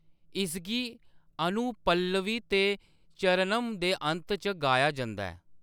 इसगी अनुपल्लवी ते चरणम दे अंत च गाया जंदा ऐ।